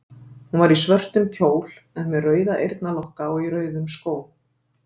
Hún var í svörtum kjól en með rauða eyrnalokka og í rauðum skóm.